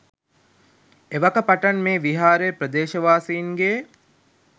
එවක පටන් මේ විහාරය ප්‍රදේශවාසීන්ගේ